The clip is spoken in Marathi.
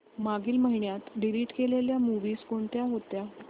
मागील महिन्यात डिलीट केलेल्या मूवीझ कोणत्या होत्या